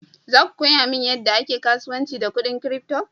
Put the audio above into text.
Za ku koya mani yadda ake kasuwanci da kudin crypto?